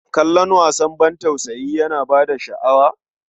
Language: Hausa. Kallon wasan ban tausayi yana ba ka sha'awa?